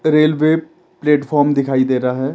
Railway platform दिखाई दे रहा है।